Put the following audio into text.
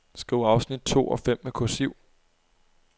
Skriv afsnit to og fem med kursiv.